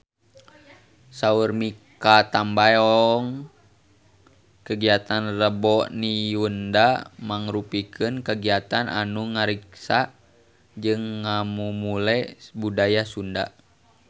Saur Mikha Tambayong kagiatan Rebo Nyunda mangrupikeun kagiatan anu ngariksa jeung ngamumule budaya Sunda